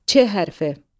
Ç hərfi.